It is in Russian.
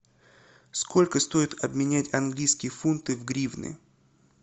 сколько стоит обменять английские фунты в гривны